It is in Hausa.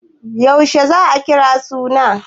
Yaushe za a kira suna?